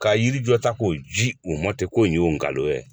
Ka yiri jɔ ta k'o ji u mɔ ten ko nin y'o nkalon ye